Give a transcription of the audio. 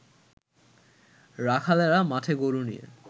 রাখালেরা মাঠে গরু নিয়ে